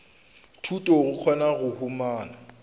thuto go kgona go humana